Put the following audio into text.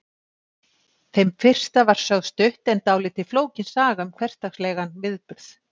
Þeim fyrsta var sögð stutt en dálítið flókin saga um hversdagslegan viðburð.